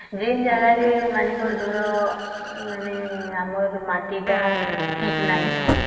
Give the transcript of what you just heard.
ଜ୍ଇନ ଜାଗାରେ ମନେକର ଧର ଆମର ମାଟି ଟା ଠିକ୍ ନାହିଁ